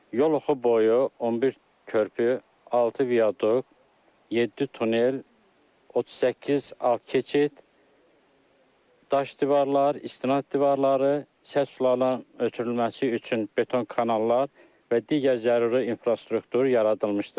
Yol oxu boyu 11 körpü, 6 viaduk, 7 tunel, 38 alt keçid, daş divarlar, istinad divarları, sə sularının ötürülməsi üçün beton kanallar və digər zəruri infrastruktur yaradılmışdır.